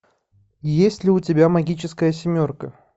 есть ли у тебя магическая семерка